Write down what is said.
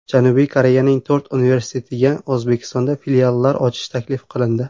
Janubiy Koreyaning to‘rt universitetiga O‘zbekistonda filiallar ochish taklif qilindi.